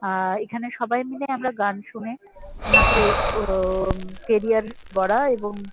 আর এখানে সবাই মিলে আমরা গান শুনে ওনাকে ও-ওম কেরিআর গড়া এবং --